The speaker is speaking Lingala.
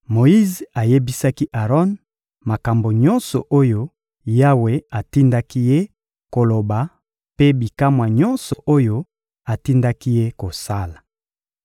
Moyize ayebisaki Aron makambo nyonso oyo Yawe atindaki ye koloba mpe bikamwa nyonso oyo atindaki ye kosala.